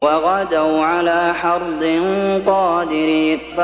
وَغَدَوْا عَلَىٰ حَرْدٍ قَادِرِينَ